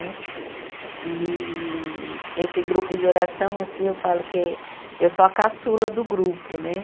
Né. E esse grupo de oração assim, eu falo que eu sou a caçula do grupo né.